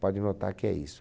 Pode notar que é isso.